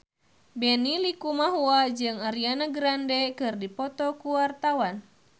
Benny Likumahua jeung Ariana Grande keur dipoto ku wartawan